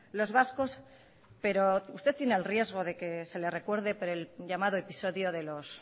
los vascos pero usted tiene el riesgo de que se le recuerde por el llamado episodio de los